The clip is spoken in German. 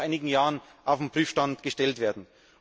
Das muss nach einigen Jahren auf den Prüfstand gestellt werden.